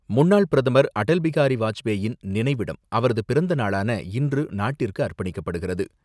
முன்னாள் பிரதமர் அடல் பிகாரி வாஜ்பேயின் நினைவிடம் அவரது பிறந்த நாளான இன்று நாட்டிற்கு அர்ப்பணிக்கப்படுகிறது.